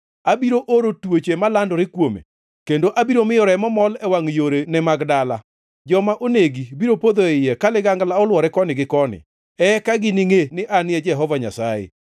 Abiro oro tuoche malandore kuome, kendo abiro miyo remo mol e wangʼ yorene mag dala. Joma onegi biro podho e iye ka ligangla olwore koni gi koni. Eka giningʼe ni An e Jehova Nyasaye.